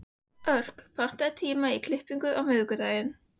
Örk, pantaðu tíma í klippingu á miðvikudaginn.